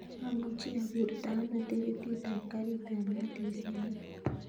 Amuchi akurta ano tikitit ap karit ap maat en simoit